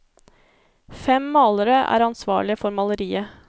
Fem malere er ansvarlige for maleriet.